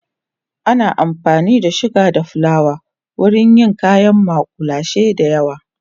ana amfani da suga da flawa wurin yin kayan makullashe da yawa